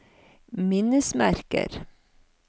minnesmerker